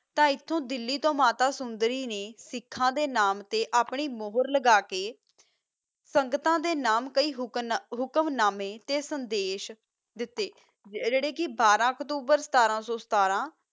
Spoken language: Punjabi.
ਤਾ ਏਥੋ ਦਿਆਲੀ ਤੋ ਮਾਤਾ ਸੋੰਦਾਰੀ ਨਾ ਸਿਖਾ ਦਾ ਨਾਮ ਤਾ ਆਪਣੀ ਮੋਹਰ ਲਗਾ ਕਾ ਸੰਗਤਾ ਦਾ ਨਾਮ ਕੀ ਹੁਕਮ ਨਾਮਾ ਤਾ ਸੰਦਾਸ਼ ਦਿਤਾ ਜਰਾ ਬਾਰਾ ਅਕਤੂਬਰ ਸਤਰ ਸਤਰ